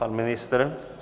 Pan ministr?